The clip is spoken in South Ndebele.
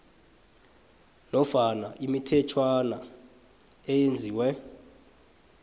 nofana imithetjhwana eyenziwe